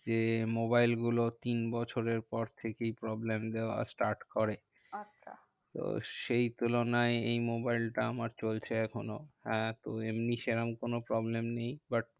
যে মোবাইল গুলো তিন বছরের পর থেকেই problem দেওয়া start করে। আচ্ছা তো সেই তুলনায় এই মোবাইল টা আমার চলছে এখনও। আহ তো এমনি সেরম কোনো problem নেই। but